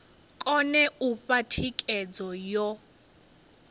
kone u fha thikhedzo yo